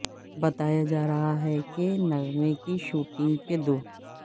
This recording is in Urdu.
بتایا جا رہا ہے کہ نغمے کی شوٹنگ کے دو